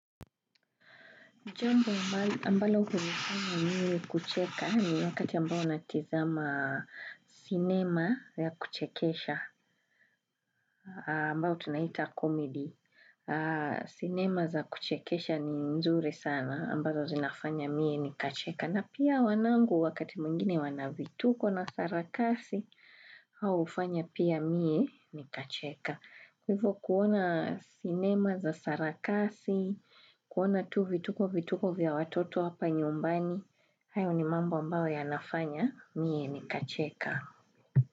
Jambo ambalo hunifanya niwe kucheka ni wakati ambao natizama cinema ya kuchekesha ambao tunaita komedi. Cinema za kuchekesha ni nzuri sana ambazo zinafanya mi ni kacheka. Na pia wanangu wakati mwingine wanavituko na sarakasi hau ufanya pia mie ni kacheka. Kwahivo kuona sinema za sarakasi, kuona tu vituko vituko vya watoto hapa nyumbani, hayo ni mambo ambao ya nafanya, mie ni kacheka.